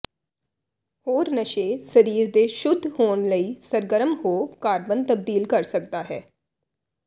ਹੋਰ ਨਸ਼ੇ ਸਰੀਰ ਦੇ ਸ਼ੁੱਧ ਹੋਣ ਲਈ ਸਰਗਰਮ ਹੋ ਕਾਰਬਨ ਤਬਦੀਲ ਕਰ ਸਕਦਾ ਹੈ